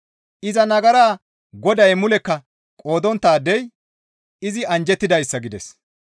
Iza nagaraa Goday mulekka qoodonttaadey izi anjjettidayssa!» gides.